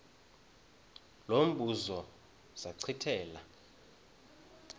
lo mbuzo zachithela